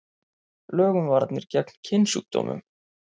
Lög um varnir gegn kynsjúkdómum.